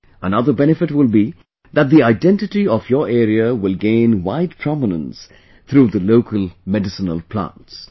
Another benefit will be that the identity of your area will gain wide prominence through the local medicinal plants